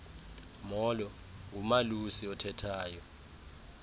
molo ngumalusi othethayo